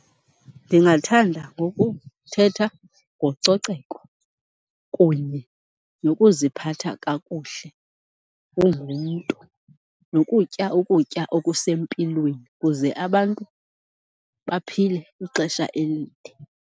Ndingathanda ngokuthetha ngococeko kunye nokuziphatha kakuhle ungumntu, nokutya ukutya okusempilweni kuze abantu baphile ixesha elide.